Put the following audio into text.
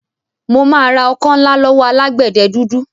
Mo máa ra ọkọ́ ńlá lọ́wọ́ alágbẹ̀dẹ dúdú.